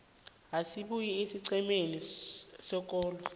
esibuya esiqhemeni sekolo